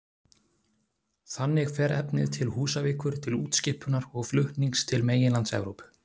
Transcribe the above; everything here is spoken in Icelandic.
Þannig fer efnið til Húsavíkur til útskipunar og flutnings til meginlands Evrópu.